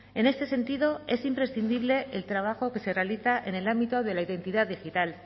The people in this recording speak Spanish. en este sentido es imprescindible el trabajo que se realiza en el ámbito de la identidad digital